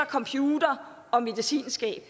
computere og medicinskabe